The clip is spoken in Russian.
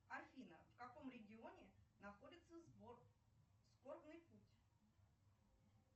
афина в каком регионе находится сбор скорбный путь